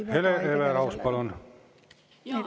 Hele Everaus, palun!